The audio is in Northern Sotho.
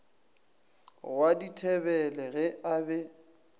wa dithebele ge a be